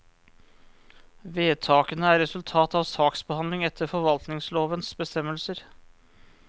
Vedtakene er resultat av saksbehandling etter forvaltningslovens bestemmelser.